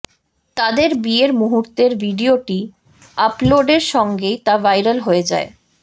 তাদের বিয়ের মুহূর্তের ভিডিওটি আপলোডের সঙ্গেই তা ভাইরাল হয়ে যায়